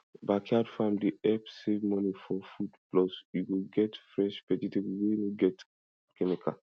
backyard farm dey help save money for food plus you go get fresh vegetable wey no get chemical